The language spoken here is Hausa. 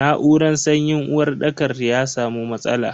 Na'uran sanyin uwarɗakar ya samu matsala.